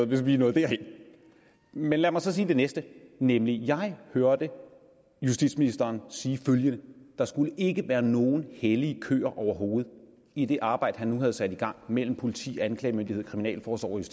hvis vi var nået derhen men lad mig så sige det næste nemlig at jeg hørte justitsministeren sige følgende der skal ikke være nogen hellige køer overhovedet i det arbejde han har sat i gang mellem politi anklagemyndighed kriminalforsorgen